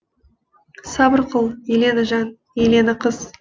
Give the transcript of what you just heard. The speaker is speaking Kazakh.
сабыр қыл елена жан елена қыз